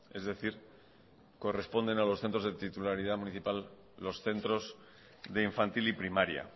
es decir corresponden a los centros de titularidad municipal los centros de infantil y primaria